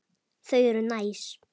Þau eru næs.